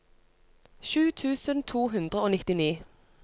sju tusen to hundre og nittini